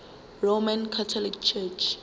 roman catholic church